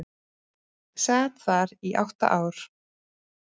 Sat þar í átta ár.